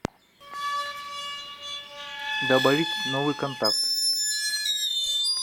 добавить новый контакт